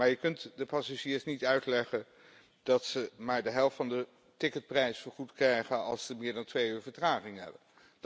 Je kunt de passagiers echter niet uitleggen dat ze maar de helft van de ticketprijs vergoed krijgen als ze meer dan twee uur vertraging hebben.